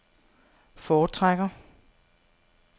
foretrækker